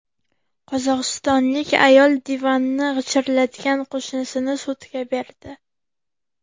Qozog‘istonlik ayol divanni g‘ichirlatgan qo‘shnisini sudga berdi.